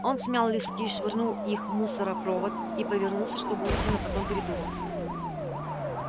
он смял листки швырнул их в мусоропровод и повернулся чтобы уйти но потом передумал